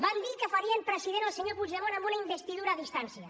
van dir que farien president el senyor puigdemont amb una investidura a distància